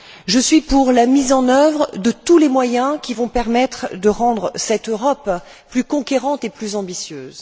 Je suis pour la mise en œuvre de tous les moyens qui vont permettre de rendre cette Europe plus conquérante et plus ambitieuse.